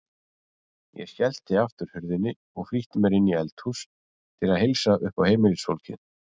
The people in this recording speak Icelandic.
Ég skellti aftur hurðinni og flýtti mér inní eldhús til að heilsa uppá heimilisfólkið.